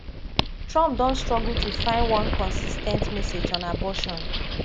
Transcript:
trump don struggle to find one consis ten t message on abortion